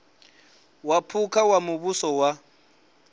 wa phukha wa muvhuso wa